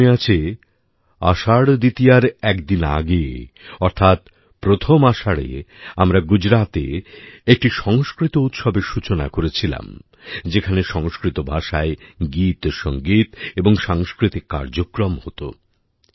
আমার মনে আছে আষাঢ় দ্বিতীয়ার একদিন আগে অর্থাৎ প্রথম আষাঢ়ে আমরা গুজরাতে একটি সংস্কৃত উৎসবের সূচনা করেছিলাম যেখানে সংস্কৃত ভাষায় গীতসংগীত এবং সাংস্কৃতিক কার্যক্রম হত